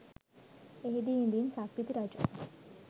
එහිදී ඉදින් සක්විති රජු